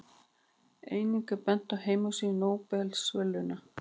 Einnig er bent á heimasíðu Nóbelsverðlaunanna.